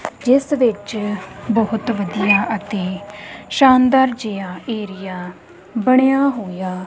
ਜਿਸ ਵਿੱਚ ਬਹੁਤ ਵਧੀਆ ਅਤੇ ਸ਼ਾਨਦਾਰ ਜਿਹਾ ਏਰੀਆ ਬਣਿਆ ਹੋਇਆ--